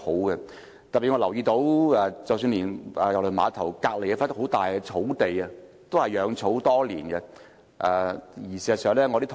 我特別留意到，郵輪碼頭旁邊的一幅大型草地，多年來雜草叢生。